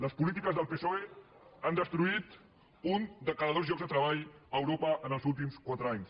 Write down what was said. les polítiques del psoe han destruït un de cada dos llocs de treball a europa en els últims quatre anys